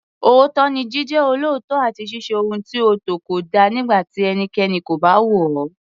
Òótọ́ ni Jíjẹ́ olóòótọ́ àti ṣíṣe ohun tí ó tọ́ kódà nígbà tí ẹnikẹ́ni kò bá wò ó.